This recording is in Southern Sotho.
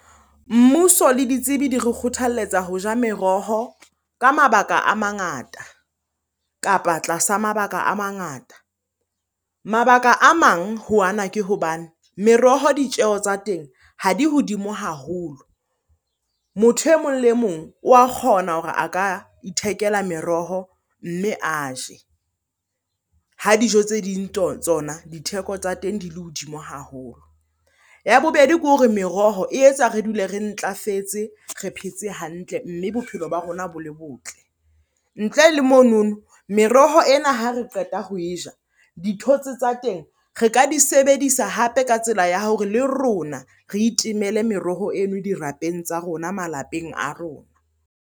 Mmuso le ditsebi di re kgothaletsa ho ja meroho ka mabaka a mangata, kapa tlasa mabaka a mangata. Mabaka a mang ho ana ke hobane meroho ditjeho tsa teng ha di hodimo haholo. Motho emong le emong wa kgona hore a ka ithekela meroho mme a je ha dijo tse ding tseo tsona ditheko tsa teng di le hodimo haholo. Ya bobedi ke hore meroho e etsa re dule re ntlafetse, re phetse hantle mme bophelo ba rona bo le botle. Ntle le monono meroho ena ha re qeta ho e ja, dithotse tsa teng re ka di sebedisa hape ka tsela ya hore le rona re itemele meroho eno dirapeng tsa rona, malapeng a rona.